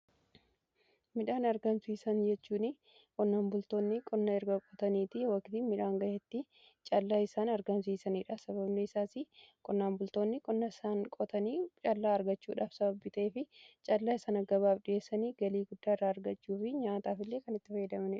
Midhaan argamsiisan jechuun qonnaan bultoonni qonna erga qotaniitii waqtii midhaan ga'eetti callaa isaan argansiisaniidha. Sababni isaas qonnaan bultoonni qunna isaan qotanii callaa argachuudhaaf sababbii ta'eef callaa isaanii gabaaf dhiheessanii galii guddaa irraa argachuu fi nyaataaf illee kan itti fayyadamanidha.